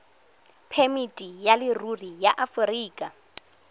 phemiti ya leruri ya aforika